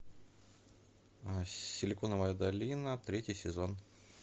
силиконовая долина третий сезон